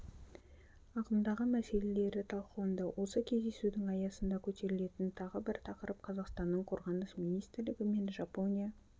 ағымдағы мәселелері талқыланды осы кездесудің аясында көтерілген тағы бір тақырып қазақстанның қорғаныс министрлігі мен жапония